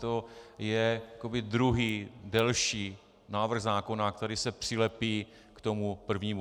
To je jakoby druhý, delší návrh zákona, který se přilepí k tomu prvnímu.